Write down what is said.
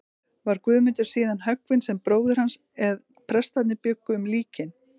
Var Guðmundur síðan höggvinn sem bróðir hans, en prestarnir bjuggu um líkin.